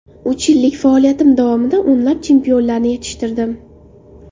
Uch yillik faoliyatim davomida o‘nlab chempionlarni yetishtirdim.